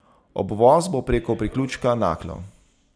Obvoz bo preko priključka Naklo.